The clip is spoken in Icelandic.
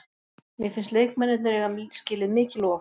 Mér finnst leikmennirnir eiga skilið mikið lof.